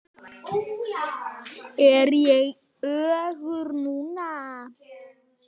Ég er örugg núna.